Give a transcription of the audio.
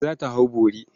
Kand za ta hau bori.